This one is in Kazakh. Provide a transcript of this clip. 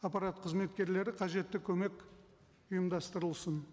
аппарат қызметкерлері қажетті көмек ұйымдастырылсын